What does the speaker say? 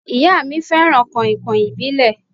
Ìyá mí fẹràn kàìnkàìn ìbílẹ̀.